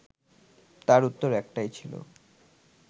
তার উত্তর একটাই ছিল